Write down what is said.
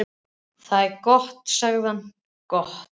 Það er gott sagði hann, gott